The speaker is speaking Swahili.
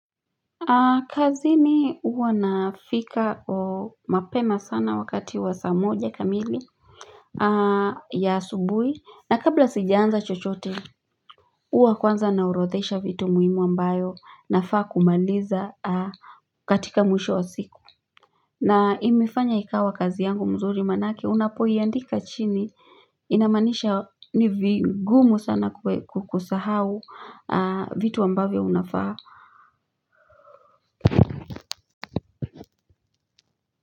Kazini huwa nafika mapema sana wakati wa saa moja kamili ya asubuhi, na kabla sijaanza chochote huwa kwanza naorodhesha vitu muhimu ambayo nafaa kumaliza katika mwisho wa siku na imefanya ikawa kazi yangu nzuri maanake unapoiandika chini, inamaanisha ni vigumu sana kusahau vitu ambavyo unafanya.